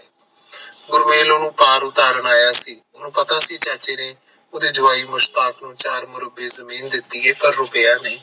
ਗੁਰਮੇਲ ਓਹਨੂੰ ਨੂੰ ਘਰ ਉਤਾਰਨ ਆਯਾ ਸੀ ਓਹਨੂੰ ਪਤਾ ਸੀ ਚਾਚੇ ਨੇ ਓਹਦੇ ਜਵਾਈ ਮੁਸ਼ਤਾਫ ਨੂੰ ਚਾਰ ਮਰਬੇ ਜਮੀਨ ਦਿਤੀ ਹੈ ਪਰ ਉਹ ਗਯਾ ਨਹੀਂ